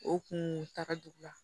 O kuntagaduguya